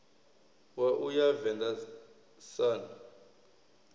wa u ya venḓa sun